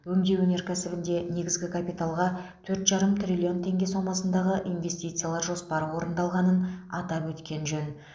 өңдеу өнеркәсібінде негізгі капиталға төрт жарым триллион теңге сомасындағы инвестициялар жоспары орындалғанын атап өткен жөн